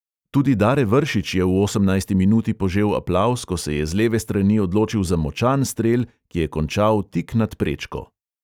Tudi dare vršič je v osemnajsti minuti požel aplavz, ko se je z leve strani odločil za močan strel, ki je končal tik nad prečko.